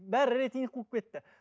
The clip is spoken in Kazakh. бәрі рейтинг қуып кетті